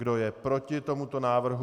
Kdo je proti tomuto návrhu?